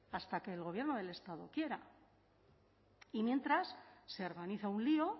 hasta que el gobierno del estado quiera y mientras se organiza un lío